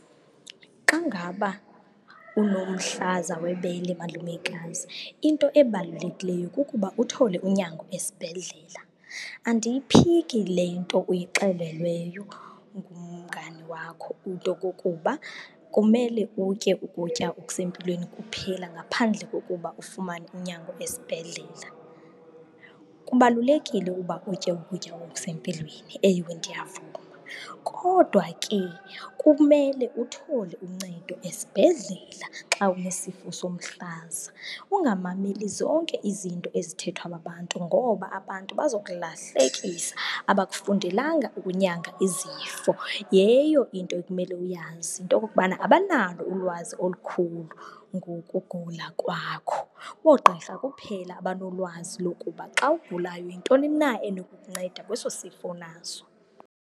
Xa ngaba unomhlaza webele, malumekazi, into ebalulekileyo kukuba uthole unyango esibhedlela. Andiyiphiki le nto uyixelelweyo ngumngani wakho, into kokuba kumele utye ukutya okusempilweni kuphela ngaphandle kokuba ufumane unyango esibhedlela. Kubalulekile uba utye ukutya okusempilweni, ewe, ndiyavuma. Kodwa ke kumele uthole uncedo esibhedlela xa unesifo somhlaza, ungamameli zonke izinto ezithethwa babantu ngoba abantu bazokulahlekisa, abakufundelanga ukunyanga izifo. Yeyo into ekumele uyazi into okokubana abanalo ulwazi olukhulu ngokugula kwakho. Oogqirha kuphela abanolwazi lokuba xa ugulayo yintoni na enokukunceda kweso sifo unaso.